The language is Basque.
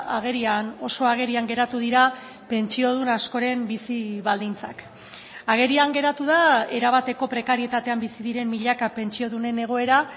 agerian oso agerian geratu dira pentsiodun askoren bizi baldintzak agerian geratu da erabateko prekarietatean bizi diren milaka pentsiodunen egoera